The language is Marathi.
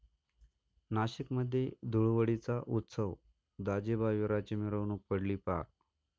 नाशिकमध्ये धुळवडीचा उत्सव, दाजिबा विराची मिरवणूक पडली पार